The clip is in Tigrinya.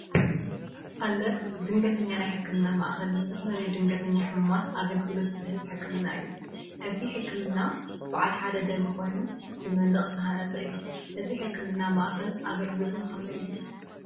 አለርትድንገተኛ ናይ ሕክምና ማዕከል ንዝተፈለለዩ ድንገተኛ ሕሙማት አገልግሎት ዝህብ ሕክምና እዩ፡፡ እዚ ሕክምና በዓል ሓደ ደብሪ ኮይኑ ብመንድቅ ዝተሃነፀ እዩ፡፡ እዚ ሕክምና ማእከል አገልግሎቱ ከመይ እዩ?